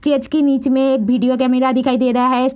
Stage के नीच में एक वीडियो कैमरा दिखाई दे रहा है।